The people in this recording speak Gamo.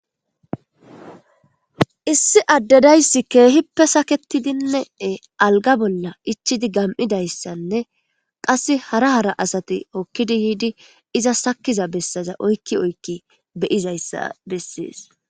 Issi Ade daysi keehippe saka'etidi alga bolla ichidi gami'idaysane qaseka hara hara asati hokidi yiidi izas sakiza besaza oyki oyki beyizaysa besesi.